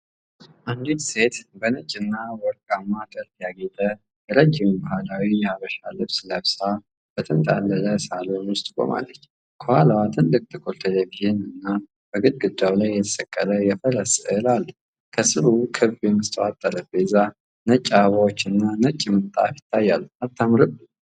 አንዲት ሴት በነጭና በወርቃማ ጥልፍ ያጌጠ ረጅም ባህላዊ የሐበሻ ልብስ ለብሳ፣ በተንጣለለ ሳሎን ውስጥ ቆማለች። ከኋላዋ ትልቅ ጥቁር ቴሌቪዥንና በግድግዳ ላይ የተሰቀለ የፈረስ ሥዕል አለ፤ ከስሩ ክብ የመስታወት ጠረጴዛ፣ ነጭ አበባዎችና ነጭ ምንጣፍ ይታያሉ። አታምርም?